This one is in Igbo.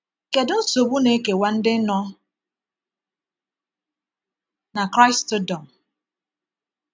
Kedu ụdị nsogbu na-ekewa ndị nọ na Kraịstụdọm?